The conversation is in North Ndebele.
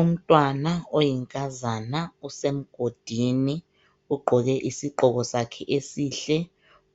Umntwana oyinkazana usemgodini, ugqoke isigqoko sakhe esihle,